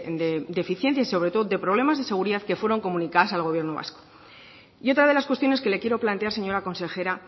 de deficiencias y sobre todo de problemas de seguridad que fueron comunicadas al gobierno vasco y otra de las cuestiones que le quiero plantear señora consejera